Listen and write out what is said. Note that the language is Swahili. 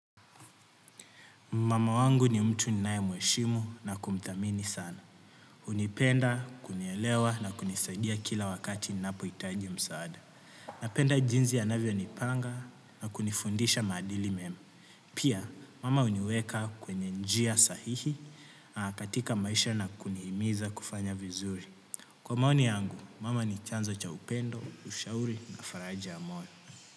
Mama wangu ni mtu ninae mweshimu na kumthamini sana. Unipenda, kunielewa na kunisadia kila wakati nnapo itaji msaada. Napenda jinzi anavio nipanga na kunifundisha madili memu. Pia, mama uniweka kwenye njia sahihi katika maisha na kunihimiza kufanya vizuri. Kwa maoni yangu, mama ni chanzo cha upendo, ushauri na faraja ya moyo.